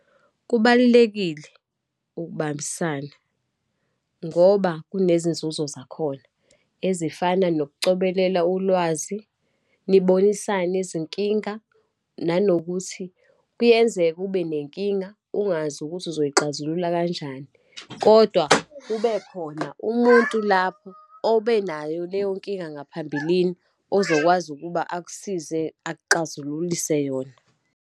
Kubalulekile ukubambisana, ngoba kunezinzuzo zakhona ezifana nokucobelela ulwazi, nibonisane izinkinga, nanokuthi kuyenzeka ube nenkinga, ungazi ukuthi uzoyixazulula kanjani, kodwa kubekhona umuntu lapho obenayo leyo nkinga ngaphambilini, ozokwazi ukuba akusize, akuxazululise yona.